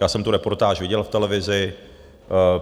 Já jsem tu reportáž viděl v televizi.